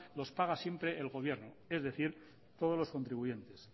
las paga siempre el gobierno es decir todos los contribuyentes